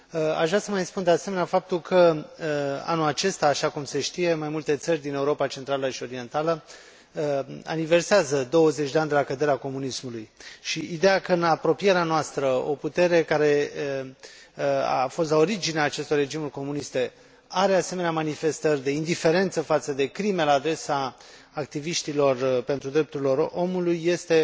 Aș vrea să vă mai spun, de asemenea, faptul că anul acesta, așa cum se știe, mai multe țări din Europa Centrală și Orientală aniversează 20 de ani de la căderea comunismului și ideea că în apropierea noastră o putere care a fost la originea acestor regimuri comuniste are asemenea manifestări de indiferență față de crime la adresa activiștilor pentru drepturile omului, este